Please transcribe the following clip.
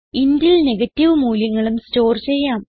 intൽ negative മൂല്യങ്ങളും store ചെയ്യാം